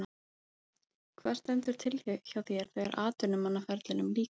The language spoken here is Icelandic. Hvað stendur til hjá þér þegar atvinnumannaferlinum lýkur?